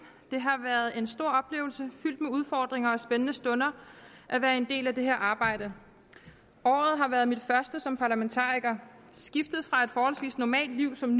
det har været en stor oplevelse fyldt med udfordringer og spændende stunder at være en del af det her arbejde året har været mit første som parlamentariker skiftet fra et forholdsvis normalt liv som